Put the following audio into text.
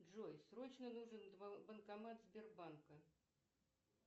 джой срочно нужен банкомат сбербанка